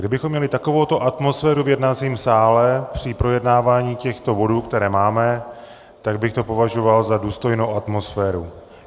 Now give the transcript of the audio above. Kdybychom měli takovouto atmosféru v jednacím sále při projednávání těchto bodů, které máme, tak bych to považoval za důstojnou atmosféru.